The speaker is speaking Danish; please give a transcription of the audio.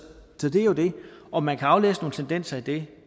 om man kan aflæse nogle tendenser i det